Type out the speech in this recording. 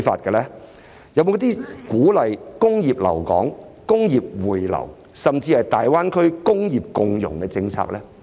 有沒有一些鼓勵工業留港、工業回流，甚至是大灣區工業共融的政策呢？